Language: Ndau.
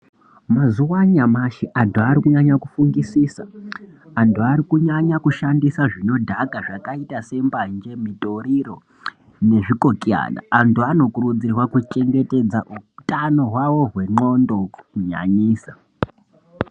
Mazuwa anyamashi antu ari kunyanya kufungisisa. Antu ari kunyanya kushandisa zvinodhaka zvakaita sembanje ,mitoriro nezvikotiyana. Antu anokurudzirwa kuchengetedza utano hwavo hwendxondo, kunyanyisa.